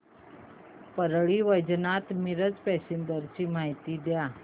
Parli Vaijnath Miraj passenger ची माहिती द्या